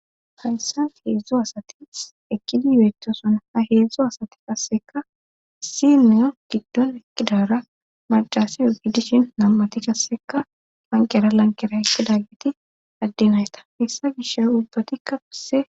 Hayssan heezu asati eqqidi beeettosona ha heezu asati qassekka issinniya giddon eqqidaara maccasiyo gidishin nam7ati qassekka lanqqera lanqqera eqqidaageti adde nayta hessa gishaw ubbatiika qasse.